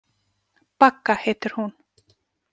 Bagga heitir hún.